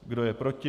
Kdo je proti?